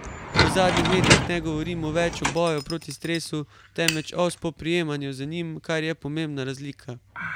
V zadnjih letih ne govorimo več o boju proti stresu, temveč o spoprijemanju z njim, kar je pomembna razlika.